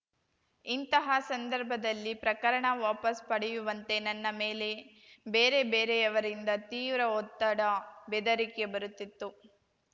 ಇಂತಹ ಸಂದರ್ಭದಲ್ಲಿ ಪ್ರಕರಣ ವಾಪಸ್‌ ಪಡೆಯುವಂತೆ ನನ್ನ ಮೇಲೆ ಬೇರೆ ಬೇರೆಯವರಿಂದ ತೀವ್ರ ಒತ್ತಡ ಬೆದರಿಕೆ ಬರುತ್ತಿತ್ತು